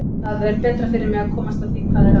Það er betra fyrir mig að komast að því hvað er að.